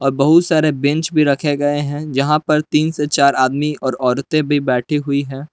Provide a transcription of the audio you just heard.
और बहुत सारे बेंच भी रखे गए हैं जहां पर तीन से चार आदमी और औरतें भी बैठी हुई है।